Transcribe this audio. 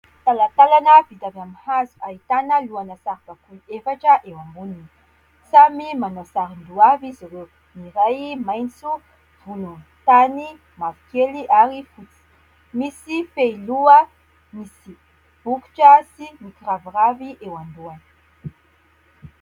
Talantalana vita amin'ny hazo, ahitana lohana saribakoly efatra eo amboniny. Samy manao saron-doha avy izy ireo. Ny iray maitso, volontany, mavokely ary fotsy. Misy fehiloha misy bokotra sy mikiraviravy eo an-dohany.